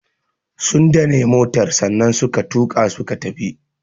Sun dane motar sannan suka tuka suka tafi.